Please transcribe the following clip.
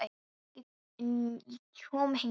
Ekki fyrr en ég kom hingað.